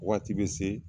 Waati bɛ se